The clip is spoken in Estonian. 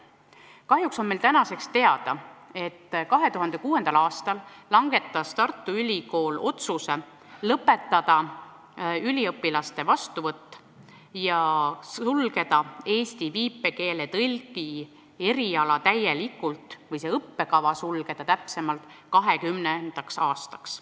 Kahjuks on meile nüüd teada, et 2006. aastal langetas Tartu Ülikool otsuse lõpetada üliõpilaste vastuvõtt ja sulgeda eesti viipekeele tõlgi õppekava täielikult 2020. aastaks.